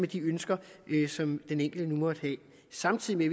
de ønsker som den enkelte nu måtte have samtidig